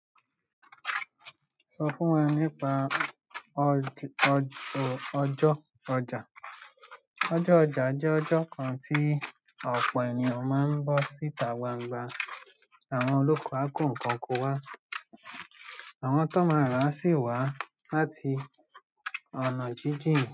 Sọ fún wa nípa ọjọ́ ọjà. Ọjọ́ ọjà jẹ́ ọjọ́ kan tí ọ̀pọ̀ ènìyàn máa ń bọ́ síta gbangba àwọn olóko á kó nǹkan oko wá. Àwọn tọ́n ma ràá á sì wá láti ọ̀nà jíjìn.